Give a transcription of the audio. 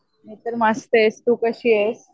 मी तर मस्त ये. तू कशीयेस?